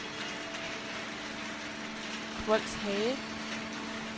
Kvols Hage